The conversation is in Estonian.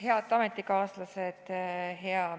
Head ametikaaslased!